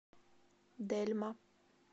дельма